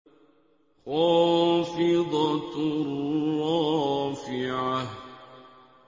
خَافِضَةٌ رَّافِعَةٌ